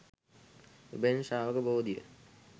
එබැවින් ශ්‍රාවක බෝධිය